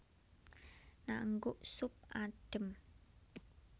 Naengguk sup adhem